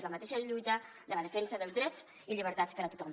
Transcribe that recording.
és la mateixa lluita de la defensa dels drets i llibertats per a tothom